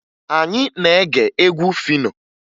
Anyị na-ege egwu Fino